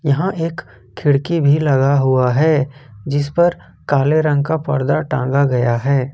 यहां एक खिड़की भी लगा हुआ है जिस पर काले रंग का पर्दा टांगा गया है ।